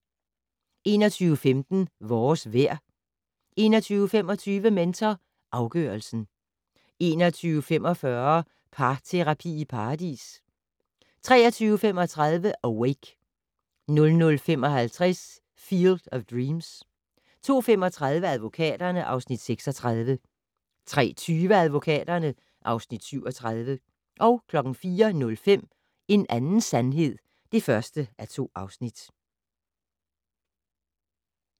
21:15: Vores vejr 21:25: Mentor afgørelsen 21:45: Parterapi i Paradis 23:35: Awake 00:55: Field of Dreams 02:35: Advokaterne (Afs. 36) 03:20: Advokaterne (Afs. 37) 04:05: En anden sandhed (1:2)